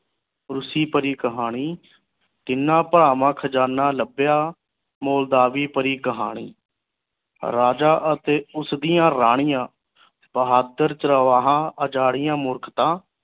ਰੂਸੀ ਭਰੀ ਕਹਾਣੀ ਤਿਨਾ ਭਾਵਾਂ ਖਜਾਨਾ ਲੱਭਿਆ ਮੋਲਦਾਵੀ ਭਰੀ ਕਹਾਣੀ ਰਾਜਾ ਅਤੇ ਉਸਦੀਆਂ ਰਾਣੀਆਂ ਬਹਾਦਰ ਉਜਾਰੀਆਂ ਮੂਰਖਤਾ